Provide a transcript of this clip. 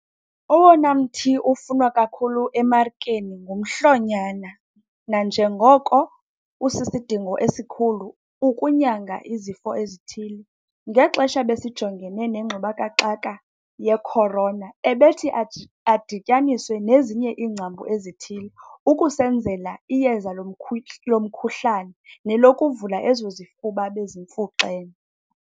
Owona mthi ufunwa kakhulu emarikeni ngumhlonyana nanjengoko usisidingo esikhulu ukunyanga izifo ezithile. Ngexesha ebesijongene nengxubakaxaka ye-corona ebethi adityaniswe nezinye iingcambu ezithile ukusenzela iyeza lomkhuhlane nelokuvula ezo zifuba bezimfuxene.